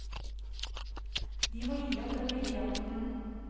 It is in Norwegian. De må gi opp den ville jakten.